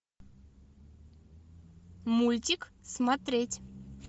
мультик смотреть